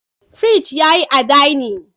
Fridge yayi a dinning